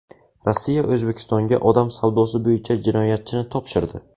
Rossiya O‘zbekistonga odam savdosi bo‘yicha jinoyatchini topshirdi.